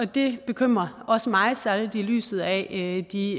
det bekymrer også mig særlig i lyset af de